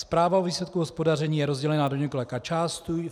Zpráva o výsledku hospodaření je rozdělena do několika částí.